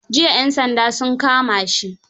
Jiya 'yan sandaa sun kama shi.